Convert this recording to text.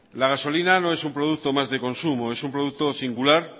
la gasolina no es un producto más de consumo es un producto singular